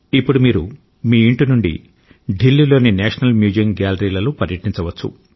ఇప్పుడు మీరు మీ ఇంటి నుండి ఢిల్లీలోని నేషనల్ మ్యూజియం గ్యాలరీలలో పర్యటించవచ్చు